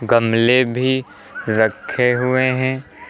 गमले भी रखे हुए हैं।